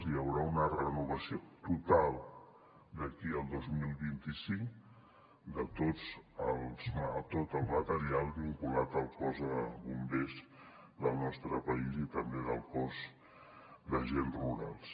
hi haurà una renovació total d’aquí al dos mil vint cinc de tot el material vinculat al cos de bombers del nostre país i també del cos d’agents rurals